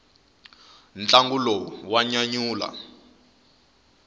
ntlangu lowu wa nyanyula